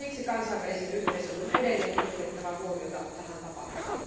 Siksi kansainvälisen yhteisön on edelleen kiinnitettävä huomiota tähän tapaukseen.